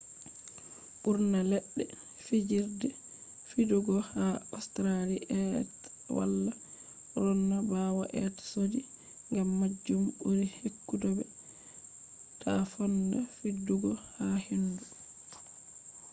burna ledde fijirde fidugo ha australia be wala ronna bawo be sodi. gam majum buri ekkutobe ta fonda fidugo ha hendu